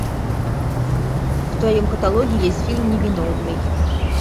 в твоем каталоге есть фильм невиновный